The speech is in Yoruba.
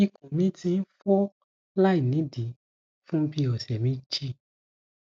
ikun mi ti n fo lainidii fun bii ọsẹ meji